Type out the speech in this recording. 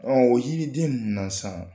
Ɔ yiriden ninnu san